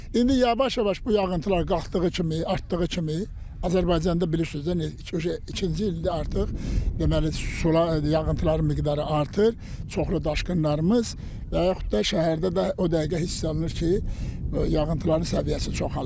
İndi yavaş-yavaş bu yağıntılar qalxdığı kimi, artdığı kimi, Azərbaycanda bilirsiniz iki ikinci ildir artıq deməli sular, yağıntıların miqdarı artır, çoxlu daşqınlarımız və yaxud da şəhərdə də o dəqiqə hiss olunur ki, yağıntıların səviyyəsi çoxalıb.